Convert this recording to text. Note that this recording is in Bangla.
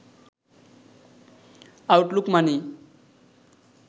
আউটলুক মানি